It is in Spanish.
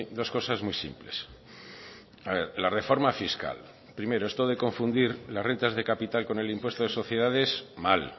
dos cosas muy simples la reforma fiscal primero esto de confundir las rentas de capital con el impuesto de sociedades mal